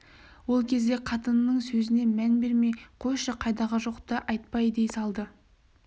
ол кезде қатынының сөзіне мән бермей қойшы қайдағы жоқты айтпай дей салды